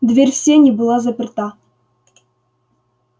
дверь в сени была заперта